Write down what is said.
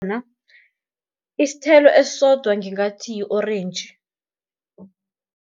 isithelo esisodwa ngingathi yi-orentji.